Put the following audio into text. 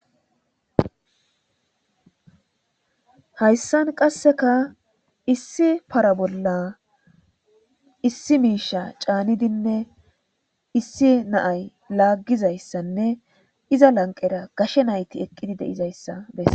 hayssan qasseka issi para bolla issi miisha caanidinne issi naay laaggizayssanne iza lanqera gashe nayti eqqidi deizayssa besa